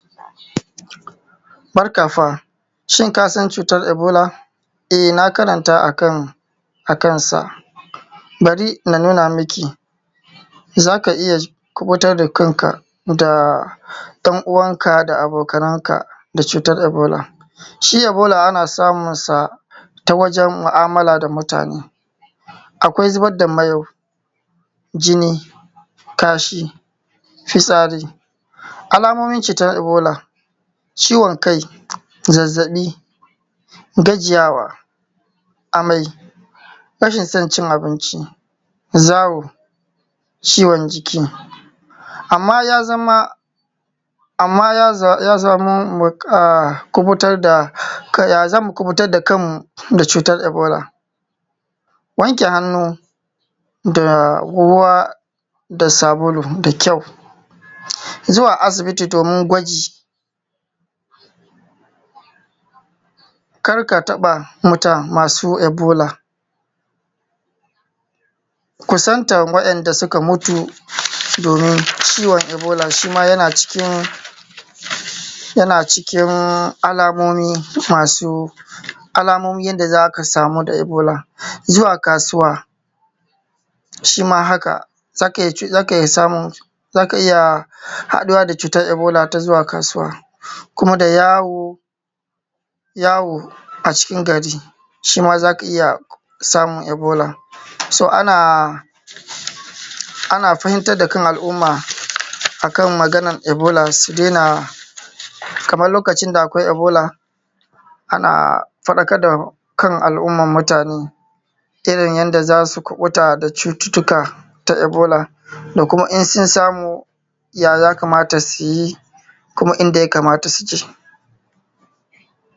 akwai zubar da miyau, jini, kasha, fitsari. Alamomin cutar ibola, ciwon kai, zazzaɓi, gajiyawa, amai, rashin son cin abinci, zawo, ciwon jiki. amma ya zama ya zamu kuɓutar da kan mu da cutar ibola? Wanke hannu da ruwa da sabulu da kyau, zuwa asibiti domin gwaji, kar ka taɓa mutum masu ibola, kusantan wa'inda suka mutu domin ciwon ibola shima yana cikin alamomi yanda za ka samu da ibola, zuwa kasuwa shima haka zaka iya haduwa da cutar ibola ta zuwa kasuwa, kuma da yawo a cikin gari shima za ka iya samun ibola. So ana fahimtar da kan al'umma a kan maganan ibola su daina kaman lokacin da akwai ibola ana faɗakar da kan al'umman mutane irin yanda za su kuɓuta da cututtuka ta ibola da kuma in sun samu ya ya kamata su yi kuma in da ya kamata su je.